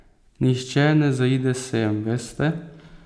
Nihče ne zaide sem, veste.